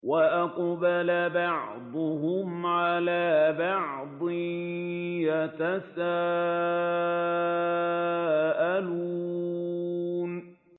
وَأَقْبَلَ بَعْضُهُمْ عَلَىٰ بَعْضٍ يَتَسَاءَلُونَ